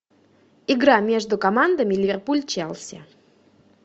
игра между командами ливерпуль челси